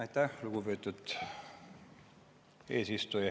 Aitäh, lugupeetud eesistuja!